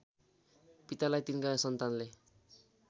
पितालाई तिनका सन्तानले